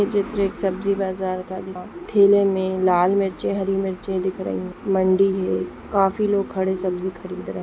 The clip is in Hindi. यह चित्र एक सब्जी बाजार का दिख रहा है जहा थैले में लाल मिर्ची हरी मिर्ची दिख रही है मंडी में काफी लोग खड़े सब्जी खरीद रहे हैं।